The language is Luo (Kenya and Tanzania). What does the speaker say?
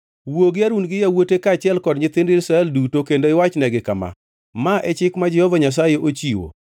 “Wuo gi Harun gi yawuote kaachiel gi nyithind Israel duto kendo iwachnegi kama: ‘Ma e chik ma Jehova Nyasaye ochiwo